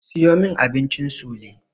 Siyo min abincin sule.